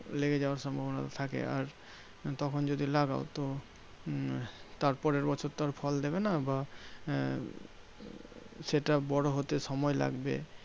লেগে যাওয়ার সম্ভবনাটা থাকে। আর তখন যদি লাগাও তো উম তার পরের বছর তো আর ফল দেবে না বা আহ সেটা বড় হতে সময় লাগবে।